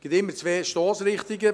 Es gibt immer zwei Stossrichtungen: